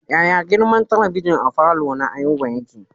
Yaya girman talabijin a falo na Ayuba yake?